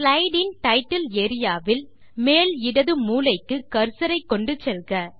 slide இன் title area வில் மேல் இடது மூலைக்கு கர்சர் ஐ கொண்டு செல்க